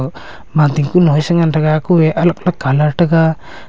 mating kunu e cha ngan taga kue alag colour taga.